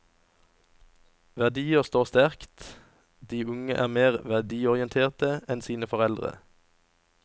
Verdier står sterkt, de unge er mer verdiorienterte enn sine foreldre.